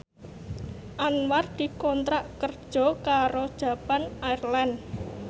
Anwar dikontrak kerja karo Japan Airlines